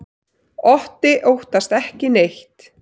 Otti óttast ekki neitt!